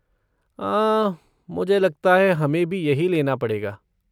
हाँ, मुझे लगता है हमें भी यही लेना पड़ेगा।